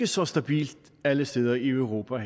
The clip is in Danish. så stabilt alle steder i europa